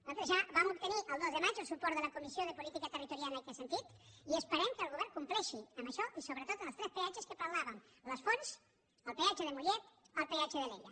nosaltres ja vam obtenir el dos de maig el suport de la comissió de política territorial en aquest sentit i esperem que el govern compleixi amb això i sobretot en els tres peatges de què parlàvem les fonts el peatge de mollet el peatge d’alella